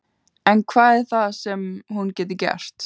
En hvað er það þá sem hún getur gert?